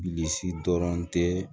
Bilisi dɔrɔn tɛ